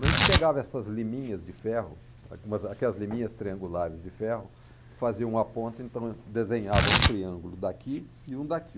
A gente pegava essas liminhas de ferro, mas era aquelas liminhas triangulares de ferro, fazia um aponto, então desenhava um triângulo daqui e um daqui.